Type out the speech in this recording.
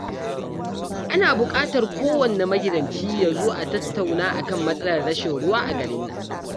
Ana buƙatar kowanne magidanci ya zo a tattauna a kan matsalar rashin ruwa a garin nan